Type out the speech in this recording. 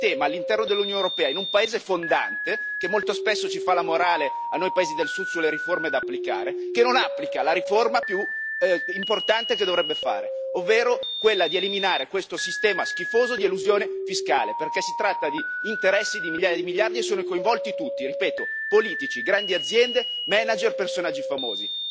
Che è un sistema all'interno dell'Unione europea, in un paese fondante, che molto spesso fa la morale a noi paesi del Sud sulle riforme da applicare, che non applica la riforma più importante che dovrebbe fare, ovvero quella di eliminare questo sistema schifoso di elusione fiscale, perché si tratta di interessi di migliaia di miliardi e sono coinvolti tutti, ripeto, politici, grandi aziende, manager e personaggi famosi.